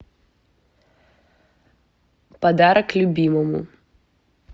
подарок любимому